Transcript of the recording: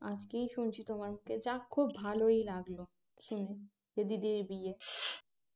আজকেই শুনছি তোমার থেকে যাক খুব ভালোই লাগল শুনে যে দিদির বিয়ে